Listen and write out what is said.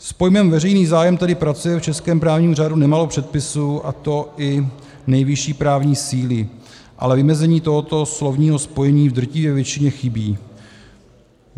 S pojmem "veřejný zájem" tedy pracuje v českém právním řádu nemálo předpisů, a to i nejvyšší právní síly, ale vymezení tohoto slovního spojení v drtivé většině chybí;